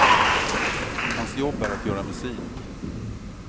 Hans jobb är att göra musik.